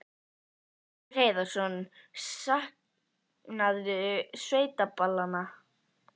Magnús Hlynur Hreiðarsson: Saknarðu sveitaballanna?